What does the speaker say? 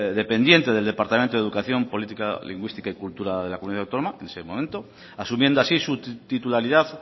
dependiente del departamento de educación política lingüística y cultura de la comunidad autónoma es ese momento asumiendo así su titularidad